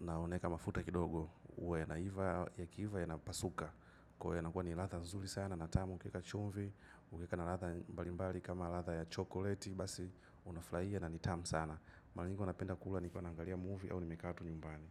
Na unaeka mafuta kidogo uwe yanaiva yakiiva yanapasuka. Kwa hiyo yanakuwa ni ladha nzuri sana na tamu ukieka chumvi. Ukieka na ladha mbalimbali kama ladha ya chokoleti. Basi unafurahia na ni tamu sana. Mara nyingi huwa napenda kula nikiwa naangalia movie au nimekaa tu nyumbani.